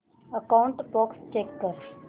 outbox check कर